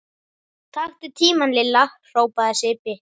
Taktu tímann Lilla! hrópaði Sibbi.